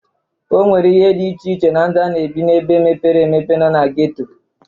O nwere ihe dị iche na ndu a na-ebi n'ebe mepere emepe na na geto.